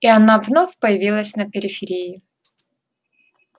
и она вновь появилась на периферии